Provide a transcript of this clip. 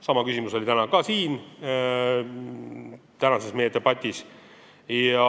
Sama küsimus tuli ka siin meie tänases debatis üles.